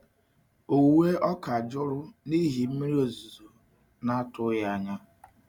Owuwe ọka jụrụ n’ihi mmiri ozuzo na-atụghị anya.